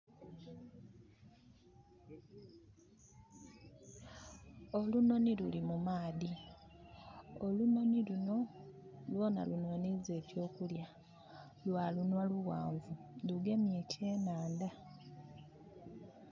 Olunhonhi luli mu maadhi. Olunhonhi luno lwoonha lunhonhiiza ekyokulya. Lwa lunhwa lughanvu. Lugemye ekyenandha